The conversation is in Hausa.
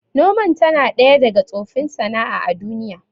Noman tana ɗaya daga tsofin sana'a a duniya